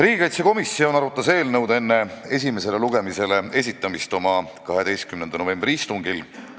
Riigikaitsekomisjon arutas eelnõu enne esimesele lugemisele esitamist oma 12. novembri istungil.